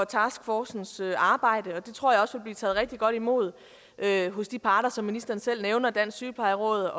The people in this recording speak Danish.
taskforcens arbejde og det tror jeg også vil blive taget rigtig godt imod hos de parter som ministeren selv nævner nemlig dansk sygeplejeråd